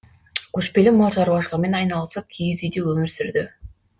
көшпелі мал шаруашылығымен айналысып киіз үйде өмір сүрді